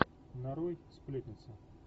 нарой сплетница